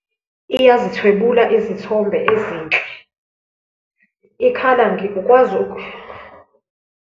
Iyazithwebula izithombe ezinhle, ikhala ngikukwazi .